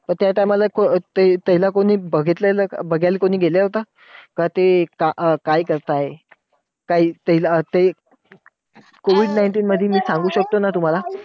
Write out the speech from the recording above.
तर त्या time ला त्याला कोणी बघितलं अं बघायला गेलं होतं तर ते काय काय करताय? काही त्याला ते COVID nineteen मध्ये मी सांगू शकतो ना तुम्हांला.